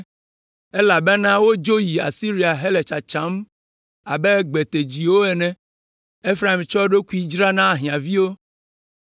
elabena wodzo yi Asiria hele tsatsam abe gbetedziwo ene. Efraim tsɔ eɖokui dzra na ahiãviwo.